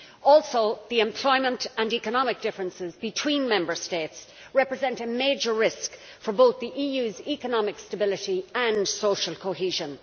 Also the employment and economic differences between Member States represent a major risk for both the EU's economic stability and social cohesion.